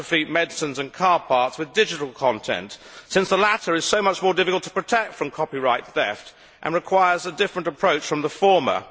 counterfeit medicines and car parts, with digital content, since the latter is so much more difficult to protect from copyright theft and requires a different approach from the former.